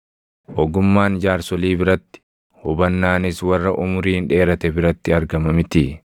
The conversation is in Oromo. Ogummaan jaarsolii biratti, hubannaanis warra umuriin dheerate biratti argama mitii?